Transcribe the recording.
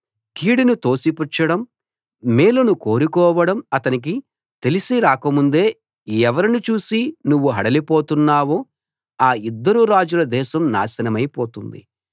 కీడును తోసిపుచ్చడం మేలును కోరుకోవడం అతనికి తెలిసి రాక ముందే ఎవరిని చూసి నువ్వు హడలి పోతున్నావో ఆ ఇద్దరు రాజుల దేశం నాశనమై పోతుంది